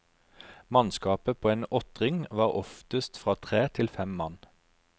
Mannskapet på en åttring var oftest fra tre til fem mann.